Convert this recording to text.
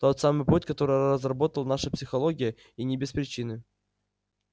тот самый путь который разработал наша психология и не без причины